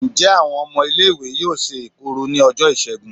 njẹ awon ọmọ ile iwe yọọ se ekuru ni ojo Isègún?